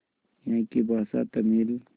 यहाँ की भाषा तमिल